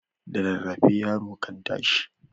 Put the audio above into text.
Da rarrafe yaro kan tashi.